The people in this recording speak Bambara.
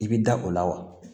I bi da o la wa